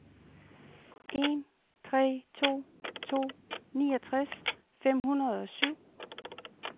en tre to to niogtres fem hundrede og syv